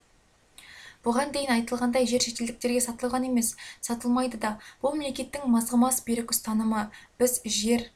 бұған дейін айтылғандай жер шетелдіктерге сатылған емес сатылмайды да бұл мемлекеттің мызғымас берік ұстанымы біз жер